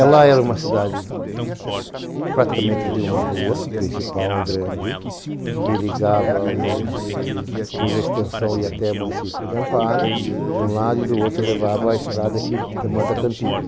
Ela era uma cidade praticamente de uma rua, principal, a grande, que ligava o muni... que cuja extensão ia até o município de Amparo, de um lado, e do outro levava à estrada que demanda à